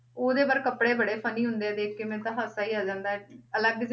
ਉਹਦੇ ਪਰ ਕੱਪੜੇ ਬੜੇ funny ਹੁੰਦੇ ਆ, ਦੇਖ ਕੇ ਮੈਨੂੰ ਤਾਂ ਹਾਸਾ ਹੀ ਆ ਜਾਂਦਾ ਹੈ ਅਲੱਗ